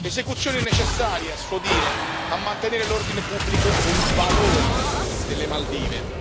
Esecuzioni necessarie, a suo dire, a mantenere l'ordine pubblico e i valori delle Maldive.